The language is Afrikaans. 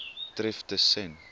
tref tus sen